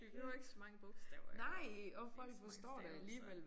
Vi behøver ikke så mange bogstaver herovre. Ikke så mange stavelser